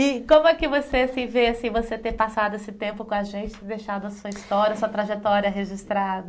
E como é que você se vê assim você ter passado esse tempo com a gente, deixado a sua história, sua trajetória registrada?